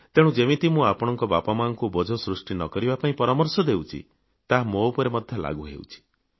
ତେଣୁ ଯେତିକି ମୁଁ ଆପଣଙ୍କ ବାପାମାଆଙ୍କୁ ବୋଝ ସୃଷ୍ଟି ନ କରିବା ପାଇଁ ପରାମର୍ଶ ଦେଉଛି ତାହା ମୋ ଉପରେ ମଧ୍ୟ ଲାଗୁ ହେଉଛି